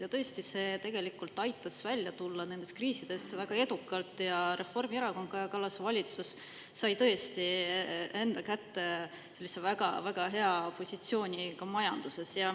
Ja tõesti, see tegelikult aitas välja tulla nendest kriisidest väga edukalt ja Reformierakond, Kaja Kallase valitsus sai tõesti enda kätte sellise väga hea positsiooni ka majanduses.